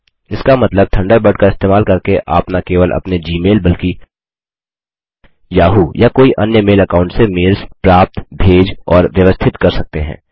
इसका मतलब थंडरबर्ड का इस्तेमाल करके आप न केवल अपने जी मेल बल्कि याहू या कोई अन्य मेल अकाउंट से मेल्स प्राप्त भेज और व्यवस्थित कर सकते हैं